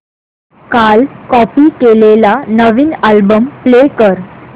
काल कॉपी केलेला नवीन अल्बम प्ले कर